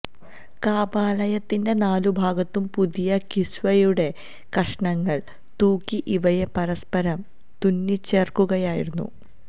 കഅ്ബാലയത്തിന്റെ നാലു ഭാഗത്തും പുതിയ കിസ്വയുടെ കഷ്ണങ്ങൾ തൂക്കി ഇവയെ പരസ്പരം തുന്നിച്ചേർക്കുകയായിരുന്നു